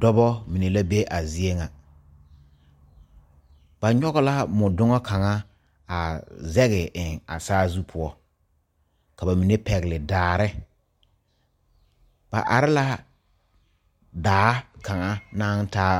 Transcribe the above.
Dɔba mine la be a zie ŋa ba nyɔge la mɔdoŋa kaŋa a zɛge eŋ a saazu poɔ ka ba mine pɛgle daare ba are la daa kaŋa naŋ taa